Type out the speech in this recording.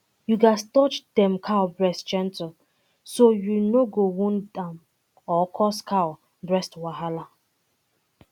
you gats touch um cow breast gentle so um you no go wound um am or cause cow breast wahala